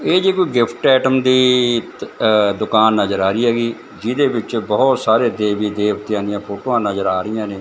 ਇਹ ਜੀ ਕੋਈ ਗਿਫ਼ਟ ਆਈਟਮ ਦੀ ਆ ਦੁਕਾਨ ਨਜਰ ਆ ਰਹੀ ਹੈਗੀ ਜਿਹਦੇ ਵਿੱਚ ਬਹੁਤ ਸਾਰੇ ਦੇਵੀ ਦੇਵਤੇਆਂ ਦਿਆਂ ਫੋਟੋਆਂ ਨਜਰ ਆ ਰਹੀਆਂ ਨੇਂ।